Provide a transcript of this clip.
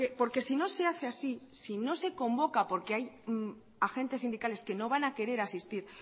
porque si no se hace así si no se convoca porque hay agentes sindicales que no van a querer asistir